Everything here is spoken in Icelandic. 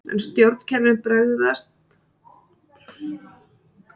Ef stjórnkerfin bregðast er hægt að grípa til þess neyðarúrræðis að eyða gölluðum frumum.